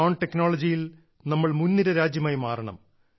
drone ടെക്നോളജിയിൽ നമ്മൾ മുൻനിര രാജ്യമായി മാറണം